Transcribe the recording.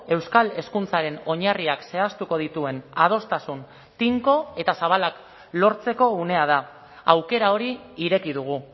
euskal hezkuntzaren oinarriak zehaztuko dituen adostasun tinko eta zabalak lortzeko unea da aukera hori ireki dugu